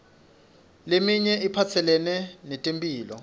leminye iphatselene netemphilo